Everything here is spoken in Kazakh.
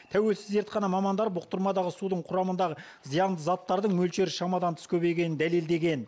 тәуелсіз зертхана мамандары бұқтырмадағы судың құрамындағы зиянды заттардың мөлшері шамадан тыс көбейгенін дәлелдеген